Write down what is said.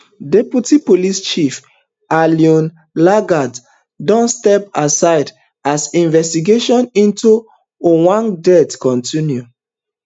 deputy police chief eliud lagat don step asideas investigation into ojwang death continue